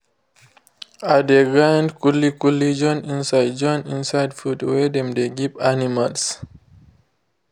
i de grind kuli kuli join inside join inside food wey dem de give animals